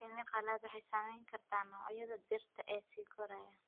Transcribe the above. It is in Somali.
Shinni qalaad waxay saameyn kartaa noocyada dhirta ee sii koraya.